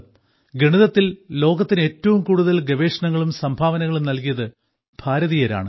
ഗണിതത്തിൽ ലോകത്തിന് ഏറ്റവും കൂടുതൽ ഗവേഷണങ്ങളും സംഭാവനകളും നൽകിയത് ഭാരതീയരാണ്